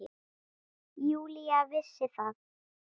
Júlía vissi það.